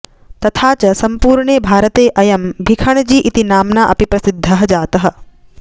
तथा च सम्पूर्णे भारतेअयं भिखणजी इति नाम्ना अपि प्रसिद्धः जातः